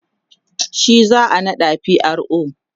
shi za'a naɗa pro